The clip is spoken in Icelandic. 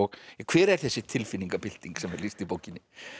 hver er þessi tilfinningabylting sem er lýst í bókinni